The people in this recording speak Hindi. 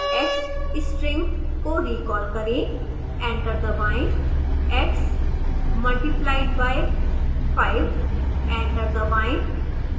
x string को रिकॉल करें